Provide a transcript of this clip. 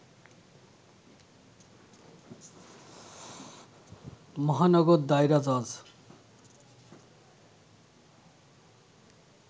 মহানগর দায়রা জজ